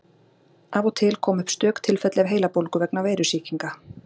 Af og til koma upp stök tilfelli af heilabólgu vegna veirusýkinga.